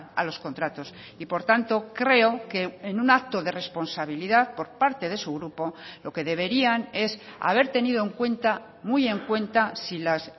a los contratos y por tanto creo que en un acto de responsabilidad por parte de su grupo lo que deberían es haber tenido en cuenta muy en cuenta si los